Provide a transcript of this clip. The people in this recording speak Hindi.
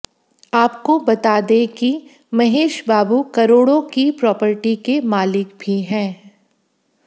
आपको बता दें कि महेश बाबू करोड़ों की प्रॉपर्टी के मालिक भी हैं